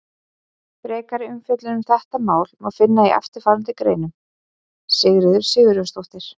Frekari umfjöllun um þetta efni má finna í eftirfarandi greinum: Sigríður Sigurjónsdóttir.